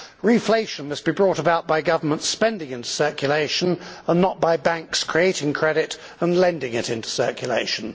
Reflation must be brought about by government spending into circulation and not by banks creating credit and lending it into circulation.